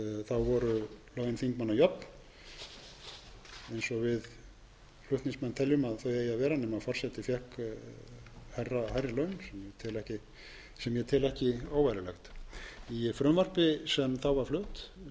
og fimm að þá voru laun þingmanna jöfn eins og við flutningsmenn teljum að þau eigi að vera nema forseti fékk hærri laun sem ég tel ekki óeðlilegt í frumvarpi sem þá var flutt þá var geir haarde fyrsti